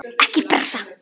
Ekki pressa!